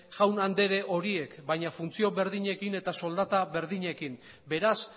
jaun andere horiek baina funtzio berdinekin eta soldata berdinekin beraz